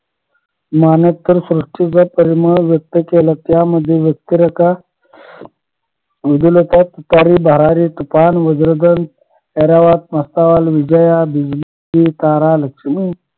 मान्स्कर श्रुष्टीचा परिमळ व्यक्त केला त्यामध्ये व्यक्तिरेखा तुतारी भरारी तुफान वज्रधान ऐरावत विजया दिलगिरी तारा लक्ष्मी